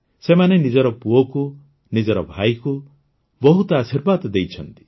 ସେମାନେ ନିଜର ପୁଅକୁ ନିଜର ଭାଇକୁ ବହୁତ ଆଶୀର୍ବାଦ ଦେଇଛନ୍ତି